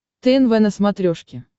тнв на смотрешке